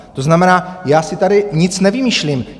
To znamená, já si tady nic nevymýšlím.